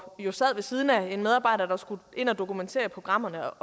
jo sad ved siden af en medarbejder der skulle ind og dokumentere i programmerne